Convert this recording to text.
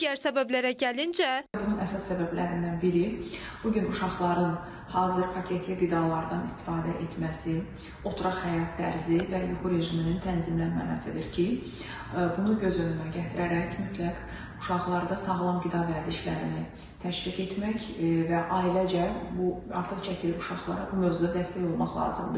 Digər səbəblərə gəlincə, bunun əsas səbəblərindən biri bu gün uşaqların hazır paketli qidalardan istifadə etməsi, oturaq həyat tərzi və yuxu rejiminin tənzimlənməməsidir ki, bunu göz önünə gətirərək mütləq uşaqlarda sağlam qida vərdişlərini təşviq etmək və ailəcə bu artıq çəkili uşaqlara bu mövzuda dəstək olmaq lazımdır.